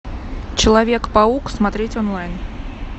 человек паук смотреть онлайн